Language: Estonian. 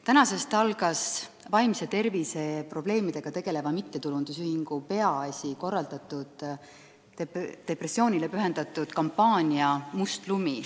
Tänasest algas vaimse tervise probleemidega tegeleva mittetulundusühingu Peaasi korraldatud ja depressiooni teadvustamisele pühendatud kampaania "Must lumi".